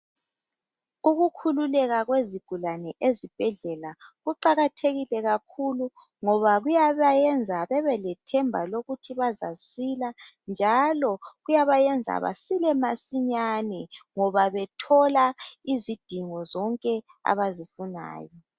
ukukhululeka kwezigulane ezibhedlela kuqakathekile kakhulu ngoba kuyabayenza babelethemba lokuthi bazasila njalo kuyabayenza basile masinyane ngoba bethola izidingo zonke abazifunayo